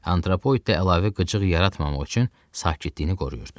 Antropoid də əlavə qıcıq yaratmamaq üçün sakitliyini qoruyurdu.